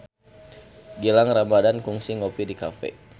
Gilang Ramadan kungsi ngopi di cafe